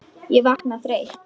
Ég vakna þreytt.